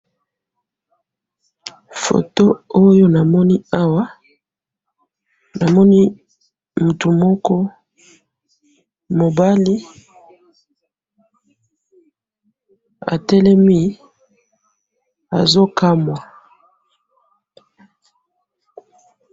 Photo oyo namoni awa, namoni muku moko mobali atelemi azo kamwa